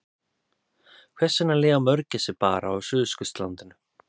Hvers vegna lifa mörgæsir bara á Suðurskautslandinu?